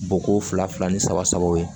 Bɔ ko fila fila ni saba sabaw ye